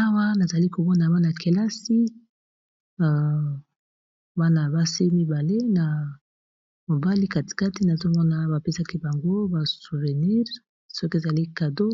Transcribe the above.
Awa nazali kobona wana kelasi wana basi mibale na mobali katikati, na zomona bapesaki bango ba souvenire soki ezali cado